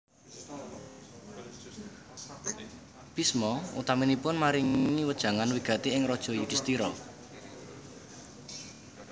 Bisma utaminipun maringi wejangan wigati ing Raja Yudisthira